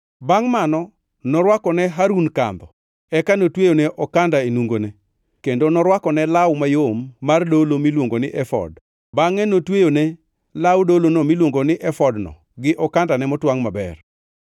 Bangʼ mano norwako ne Harun kandho, eka notweyone okanda e nungone, kendo norwakone law mayom mar dolo miluongo ni efod, bangʼe notweyone law dolono miluongo ni efodno gi okandane motwangʼ maber.